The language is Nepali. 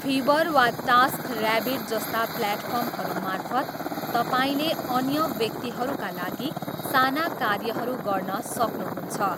फिभर वा टास्कऱ्याबिट जस्ता प्लेटफर्महरूमार्फत, तपाईँले अन्य व्यक्तिहरूका लागि साना कार्यहरू गर्न सक्नुहुन्छ।